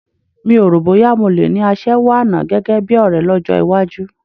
Mi o rò bóyá mo le ní aṣẹ́wó àná gẹ́gẹ́ bí ọ̀rẹ́ lọ́jọ́ iwájú